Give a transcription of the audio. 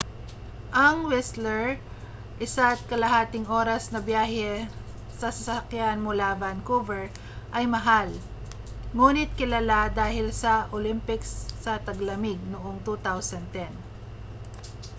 ang whistler 1.5. oras na biyahe sa sasakyan mula vancouver ay mahal nguni't kilala dahil sa olympics sa taglamig noong 2010